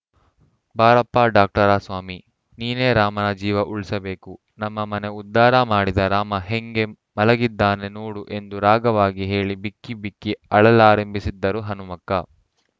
ಬಾರಪ್ಪಾ ಡಾಕ್ಟರಸ್ವಾಮಿ ನೀನೇ ರಾಮನ ಜೀವ ಉಳ್ಸಬೇಕು ನಮ್ಮ ಮನ ಉದ್ಧಾರಮಾಡಿದ ರಾಮ ಹೆಂಗೆ ಮಲಗಿದಾನೆ ನೋಡು ಎಂದು ರಾಗವಾಗಿ ಹೇಳಿ ಬಿಕ್ಕಿಬಿಕ್ಕಿ ಅಳಲಾರಂಭಿಸಿದರು ಹನುಮಕ್ಕ